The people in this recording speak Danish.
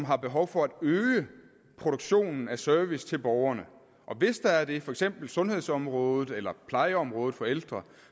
har behov for at øge produktionen af service til borgerne og hvis der er det for eksempel sundhedsområdet eller plejeområdet for ældre